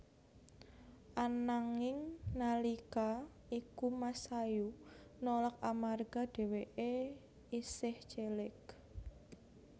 Ananging nalika iku Masayu nolak amarga dheweké isih cilik